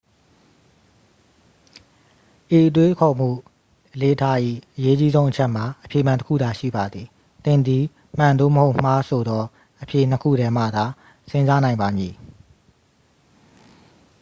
ဤတွေးခေါ်မှုအလေ့အထ၏ အရေးအကြီးဆုံးအချက်မှာ အဖြေမှန် တစ် ခုသာရှိပါသည် သင်သည် မှန် သို့မဟုတ် မှား ဆိုသောအဖြေ နှစ် ခုထဲမှသာ စဉ်းစားနိုင်ပါမည်